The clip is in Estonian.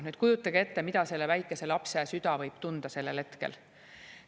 Nüüd kujutage ette, mida selle väikese lapse süda võib tunda sellel hetkel.